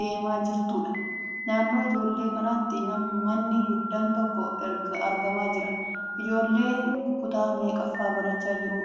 deemaa jirtuudha. Naannoo ijoollee kanatti manni guddaan tokko argamaa jira. Ijooolleen kutaa meeqaffaa barachaa jiru?